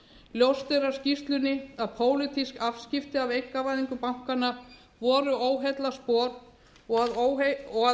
ljóst er af skýrslunni að pólitísk afskipti af einkavæðingu bankanna voru óheillaspor og að